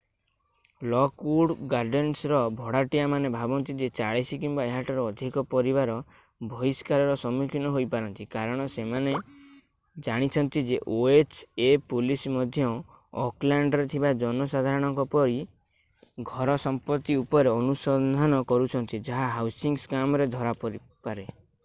Lockwood ଗାର୍ଡେନ୍ସର ଭଡ଼ାଟିଆମାନେ ଭାବନ୍ତି ଯେ 40 କିମ୍ବା ଏହାଠାରୁ ଅଧିକ ପରିବାର ବହିଷ୍କାରର ସମ୍ମୁଖୀନ ହୋଇ ପାରନ୍ତି କାରଣ ସେମାନେ ଜାଣିଛନ୍ତି ଯେ ଓଏଚ୍ ଏ ପୋଲିସ୍ ମଧ୍ୟ ଓକଲ୍ୟାଣ୍ଡରେ ଥିବା ଜନସାଧାରଣଙ୍କ ଘର ସମ୍ପତ୍ତି ଉପରେ ଅନୁସନ୍ଧାନ କରୁଛନ୍ତି ଯାହା ହାଉସିଂ ସ୍କାମରେ ଧରା ପରିପାରେ